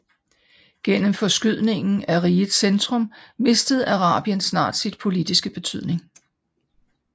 Gennem forskydningen af rigets centrum mistede Arabien snart sin politiske betydning